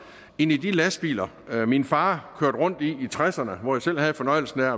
end i de lastbiler min far kørte rundt i tresserne hvor jeg selv havde fornøjelsen af